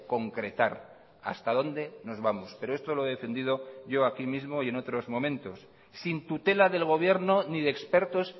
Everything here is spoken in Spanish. concretar hasta dónde nos vamos pero esto lo he defendido yo aquí mismo y en otros momentos sin tutela del gobierno ni de expertos